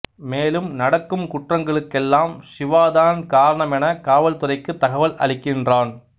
மேலும் நடக்கும் குற்றங்களுக்கெல்லாம் சிவாதான் காரணமென காவல் துறைக்குத் தகவல் அளிக்கின்றான்